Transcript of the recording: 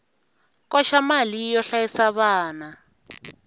koxa mali yo hlayisa vana